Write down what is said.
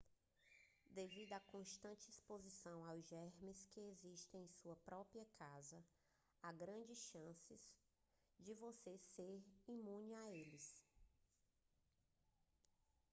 devido a constante exposição aos germes que existem em sua própria casa há grandes chances de você já ser imune a eles